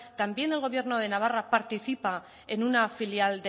también el gobierno de navarra participa en una filial